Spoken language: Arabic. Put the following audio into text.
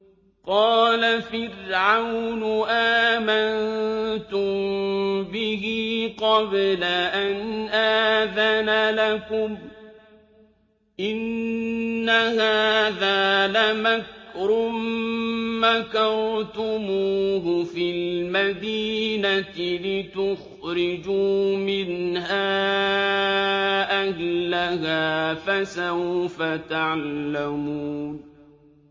قَالَ فِرْعَوْنُ آمَنتُم بِهِ قَبْلَ أَنْ آذَنَ لَكُمْ ۖ إِنَّ هَٰذَا لَمَكْرٌ مَّكَرْتُمُوهُ فِي الْمَدِينَةِ لِتُخْرِجُوا مِنْهَا أَهْلَهَا ۖ فَسَوْفَ تَعْلَمُونَ